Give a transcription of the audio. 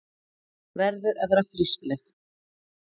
Verður að vera frískleg.